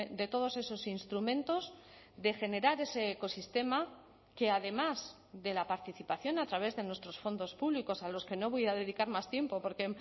de todos esos instrumentos de generar ese ecosistema que además de la participación a través de nuestros fondos públicos a los que no voy a dedicar más tiempo porque